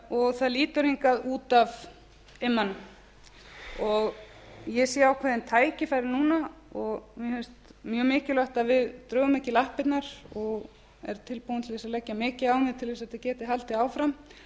og það lítur hingað út af immann ég sé ákveðin tækifæri núna og mér finnst mjög mikilvægt að við drögum ekki lappirnar og er tilbúin til að leggja mikið á mig til að þetta geti haldið áfram